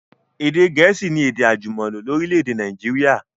Èdè gẹ̀ẹ̀síì ni èdè àjùmọ̀lò lórílẹ̀dè Naijiria